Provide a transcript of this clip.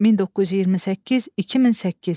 1928-2008.